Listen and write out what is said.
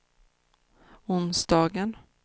onsdagen